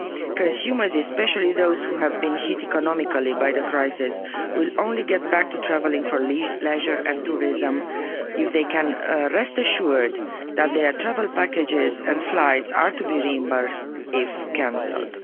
Consumers, especially those who have been hit economically by the crisis, will only get back to travelling for leisure and tourism if they can rest assured that their travel packages and flights are to be reimbursed if cancelled.